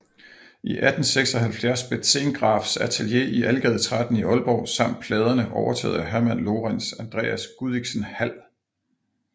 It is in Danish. I 1876 blev Zehngrafs atelier i Algade 13 i Aalborg samt pladerne overtaget af Herman Lorentz Andreas Gudichsen Hald